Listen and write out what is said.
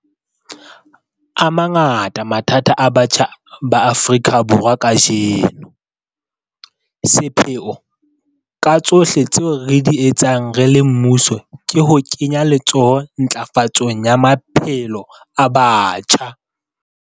A mangata mathata a batjha ba Afrika Borwa kajeno. Sepheo ka tsohle tseo re di etsang re le mmuso ke ho kenya letsoho ntlafatsong ya maphelo a batjha.